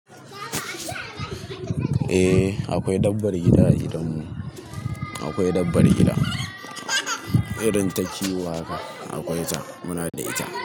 Eh akwai dabbar gida a gidanmu. Akwai dabbar gida. Irin ta kiwo haka akwai ta, muna da ita.